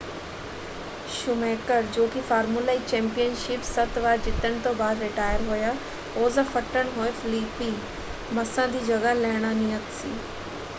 Schumacher ਜੋ ਕਿ formula 1 championship ਸੱਤ ਵਾਰ ਜਿੱਤਣ ਤੋਂ ਬਾਅਦ ਰਿਟਾਇਰ ਹੋਇਆ ਉਸ ਦਾ ਫੱਟੜ ਹੋਏ ਫਲੀਪੀ ਮੱਸਾ ਦੀ ਜਗ੍ਹਾ ਲੈਣਾ ਨਿਯਤ ਸੀ।